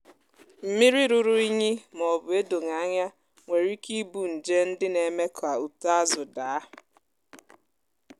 mmiri rụrụ unyi ma ọ bụ edoghì anya nwere ike ibu nje ndị na-eme ka uto azụ daa.